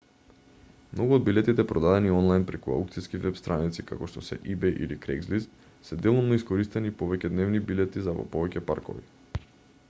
многу од билетите продадени онлајн преку аукциски веб-страници како што се ebay или craigslist се делумно искористени повеќедневни билети за во повеќе паркови